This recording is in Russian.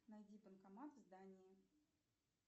найди банкомат в здании